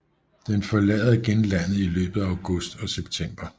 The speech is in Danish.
Den forlader igen landet i løbet af august og september